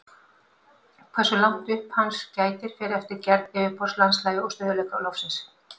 Hversu langt upp hans gætir fer eftir gerð yfirborðs, landslagi og stöðugleika lofsins.